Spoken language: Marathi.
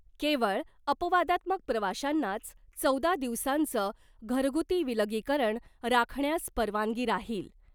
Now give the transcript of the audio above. केवळ अपवादात्मक प्रवाशांनाच चौदा दिवसांचं घरगुती विलगीकरण राखण्यास परवानगी राहील .